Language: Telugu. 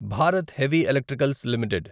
Bharat heavy electricals limited